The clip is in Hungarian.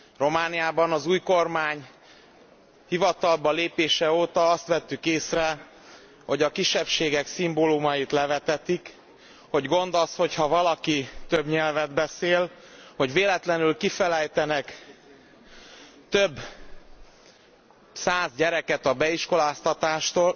Romániában az új kormány hivatalba lépése óta azt vettük észre, hogy a kisebbségek szimbólumait levetetik, hogy gond az, hogyha valaki több nyelvet beszél, hogy véletlenül kifelejtenek több száz gyereket a beiskoláztatástól.